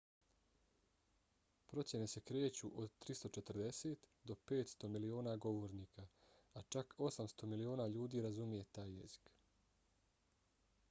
procjene se kreću od 340 do 500 miliona govornika a čak 800 miliona ljudi razumije taj jezik